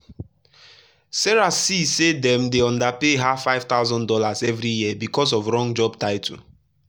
sarah later see say dem dey underpay her five thousand dollars every year because of wrong job title.